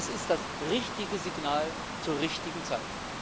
Das ist das richtige Signal zur richtigen Zeit.